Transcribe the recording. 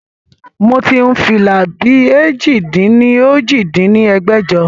Moti hun fìlà bí èjì-dín-ní-ojì dín ní ẹgbẹ́jọ